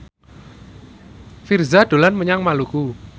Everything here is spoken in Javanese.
Virzha dolan menyang Maluku